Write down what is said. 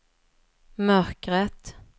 mörkret